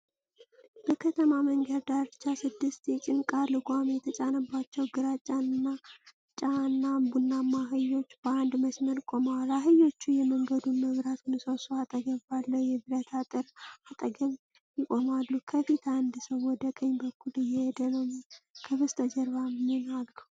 በከተማ መንገድ ዳርቻ ስድስት የጫንቃ ልጓም የተጫነባቸው ግራጫና ቡናማ አህዮች በአንድ መስመር ቆመዋል። አህዮቹ የመንገዱን መብራት ምሰሶ አጠገብ ባለው የብረት አጥር አጠገብ ይቆማሉ። ከፊት አንድ ሰው ወደ ቀኝ በኩል እየሄደ ነው። ከበስተጀርባ ምን አሉ?